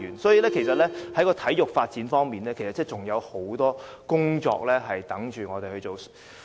所以，在體育發展方面，其實仍有很多工作等待我們去做。